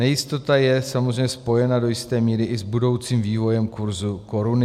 Nejistota je samozřejmě spojena do jisté míry i s budoucím vývojem kurzu koruny.